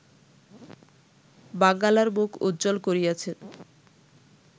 বাঙ্গালার মুখ উজ্জ্বল করিয়াছেন